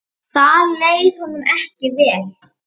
Þar leið honum ekki vel.